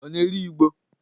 Ọ na-ere igbo?